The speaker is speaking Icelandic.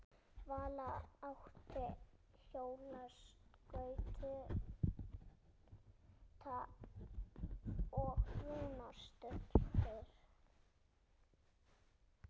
Vala átti hjólaskauta og Rúna stultur.